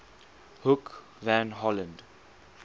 hoek van holland